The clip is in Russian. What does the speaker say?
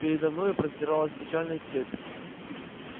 передо мною простиралась печальная степь